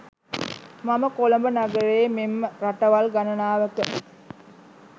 මම කොළඹ නගරයේ මෙන්ම රටවල් ගණනාවක